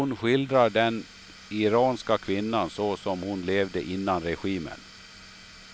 Hon skildrar den iranska kvinnan så som hon levde innan regimen.